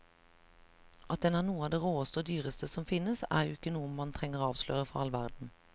At den er noe av det råeste og dyreste som finnes, er jo ikke noe man trenger avsløre for all verden.